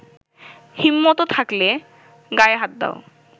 হিম্মত থাকলে গায়ে হাত দাও।